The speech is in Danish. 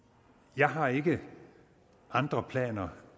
jeg har ikke andre planer